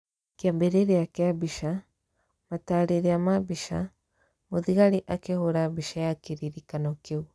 Kiambiria kĩa mbica, mataareria ma mbica. Mũthigari akĩhũũra mbica ya kĩririkano kĩu.